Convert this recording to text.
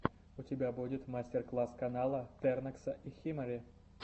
у тебя будет мастер класс канала тернокса и химари